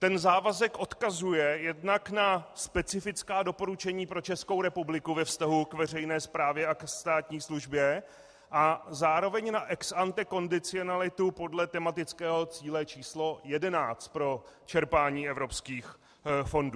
Ten závazek odkazuje jednak na specifická doporučení pro Českou republiku ve vztahu k veřejné správě a ke státní službě a zároveň na ex ante kondicionalitu podle tematického cíle číslo 11 pro čerpání evropských fondů.